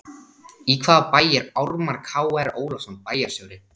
Í hvaða bæ er Ármann Kr Ólafsson bæjarstjóri?